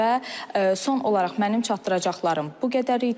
Və son olaraq mənim çatdıracaqlarım bu qədər idi.